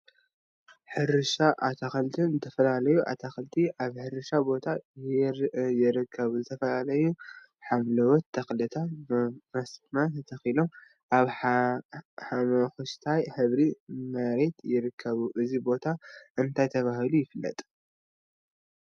ሕርሻን አትክልቲን ዝተፈላዩ አትክልቲ አብ ሕርሻ ቦታ ይርከቡ፡፡ ዝተፈላዩ ሓምለዎት ተክሊታ ብመስመር ተተኪሎም አብ ሓመኩሽታይ ሕብሪ መሬት ይርከቡ፡፡ እዚ ቦታ እንታይ ተባሂሉ ይፍለጥ?